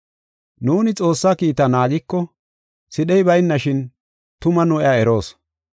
Nuuni Xoossaa kiitaa naagiko, sidhey baynashin, tuma nu iya eroos.